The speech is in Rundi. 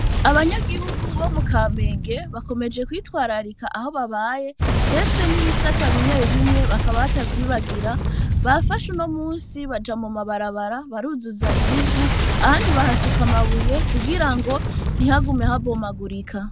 Abanyagihugu bo mu Kamenge bakomeje kwitwararika aho babaye, mbese n'ibisata bimwe bimwe bakaba batavyibagira, bafashe uno munsi baja mu mabarabara, baruzuza ibivu ahandi bahasuka amabuye kugira ngo ntihagume habomagurika.